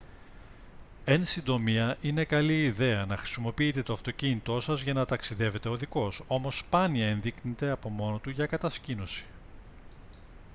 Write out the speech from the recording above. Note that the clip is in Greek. εν συντομία είναι καλή ιδέα να χρησιμοποιείτε το αυτοκίνητό σας για να ταξιδεύετε οδικώς όμως σπάνια ενδείκνυται από μόνο του για κατασκήνωση